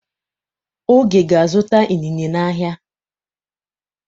Oge ga-azụta inine n'ahịa.